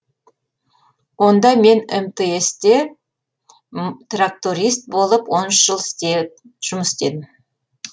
онда мен мтс те тракторист болып он үш жыл жұмыс істедім